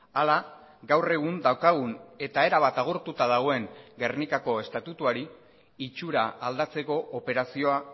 ala gaur egun daukagun eta erabat agortuta dagoen gernikako estatutuari itxura aldatzeko operazioa